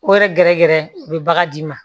O yɛrɛ gɛrɛ gɛrɛ u be bagan d'i ma